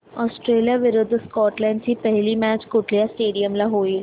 Australia विरुद्ध Scotland ची पहिली मॅच कुठल्या स्टेडीयम ला होईल